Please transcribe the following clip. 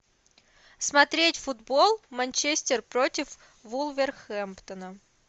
смотреть футбол манчестер против вулверхэмптона